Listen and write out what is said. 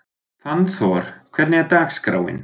Fannþór, hvernig er dagskráin?